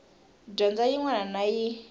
dyondzo yin wana na yin